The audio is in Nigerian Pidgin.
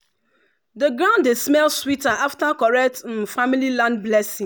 the ground dey smell sweeter after correct um family land blessing.